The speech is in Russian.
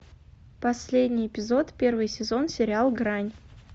последний эпизод первый сезон сериал грань